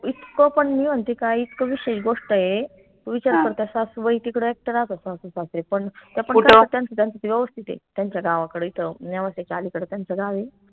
इतकं पन मी म्हनते काय इतकं विशेष गोष्ट ए सासूबाई तिकडं एकटं राहात असन सासू सासरे पण त्यांचं त्यांचं ते व्यवस्थित ए त्यांच्या गावाकडं इथं नेवासेच्या अलीकडं त्यांचं गाव ए